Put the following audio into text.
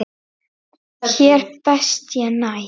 Hér best ég næ.